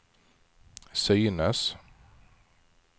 synes